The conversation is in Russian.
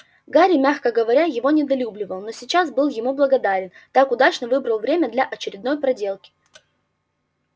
гарри мягко говоря его недолюбливал но сейчас был ему благодарен так удачно выбрал время для очередной проделки